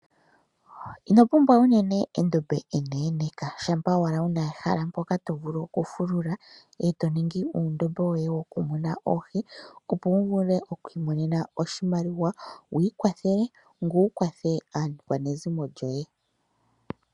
Ino pumbwa unene endombe eneneka, shampa owala wuna ehala mpoka to vulu oku fulula eto ningi uundombe woye woku munina oohi opo wu vule oku imonena oshimaliwa wu ikwathele nowu kwathele aakwanezimo lyoye.